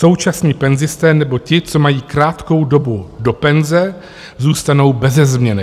Současní penzisté nebo ti, co mají krátkou dobu do penze, zůstanou beze změny.